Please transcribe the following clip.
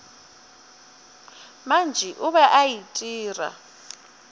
mantši o be a itira